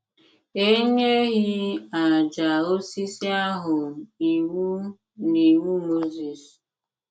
E nyeghị àjà osisi ahụ iwu n’Iwu Mozis.